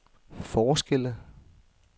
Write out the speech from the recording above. forskelle